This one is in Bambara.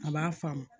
A b'a faamu